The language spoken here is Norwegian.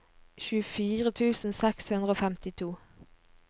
tjuefire tusen seks hundre og femtito